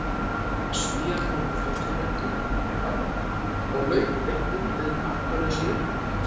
Svíar voru mótherjarnir í dag og lauk leiknum með markalausu jafntefli.